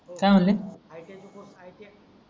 हो काय म्हणले iti चे iti